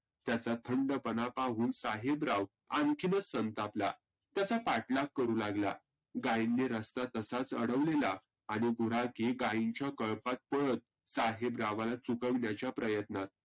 त्याचा थंडपणा पाहून साहेबराव आनखीनच संतापला. त्याचा पाठलाग करु लागला. गाईंनी रस्ता तसाच आडवलेला. आणि गुराखी गाईंक्या कळपात पळत साहेबरावांना चुकविण्याच्या प्रयत्नात.